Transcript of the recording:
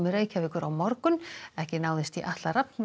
Reykjavíkur á morgun ekki náðist í Atla Rafn